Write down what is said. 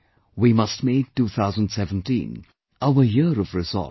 We must make 2017 our Year of Resolve